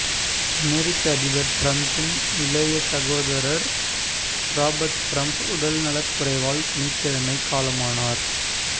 அமெரிக்க அதிபா் டிரம்ப்பின் இளைய சகோதரா் ராபா்ட் டிரம்ப் உடல்நலக்குறைவால் சனிக்கிழமை காலமானாா்